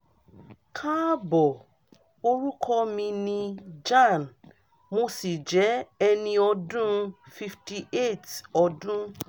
kaabo orúkọ mi ni jan mo sì jẹ́ ẹni ọdún fifty eight ọdún